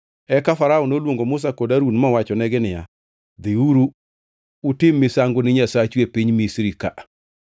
Eka Farao noluongo Musa kod Harun mowachonegi niya, “Dhiuru utim misango ni Nyasachu e piny Misri ka.”